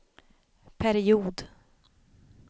period